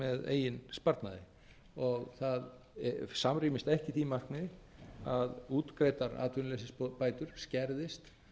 eigin sparnaði og það samrýmist ekki því markmiði að útgreiddar atvinnuleysisbætur skerðist